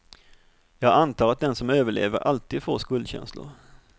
Jag antar att den som överlever alltid får skuldkänslor.